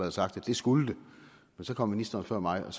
og sagt at det skulle det men så kom ministeren før mig